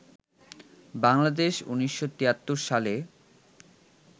বাংলাদেশ ১৯৭৩ সালে